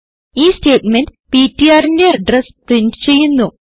ഈ സ്റ്റേറ്റ്മെന്റ് ptrന്റെ address print ചെയ്യുന്നു